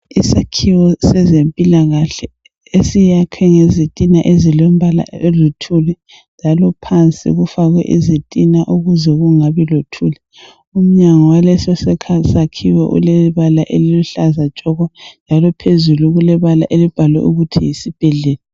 Isakhiwo sezempilakahle esiyakhwe ngezitina ezilombala oluthuli njalo phansi kufakwe izitina ukuze kungabi lothuli. Umnyango waleso sakhiwo ulebala eliluhlaza tshoko njalo phezulu kulebala elibhalwe ukuthi yisibhedlela.